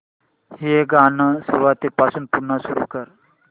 हे गाणं सुरूपासून पुन्हा सुरू कर